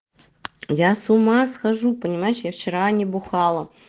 я с ума схожу понимаешь я вчера не бухала